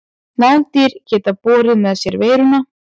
Nagdýr geta borið með sér veiruna.